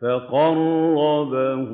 فَقَرَّبَهُ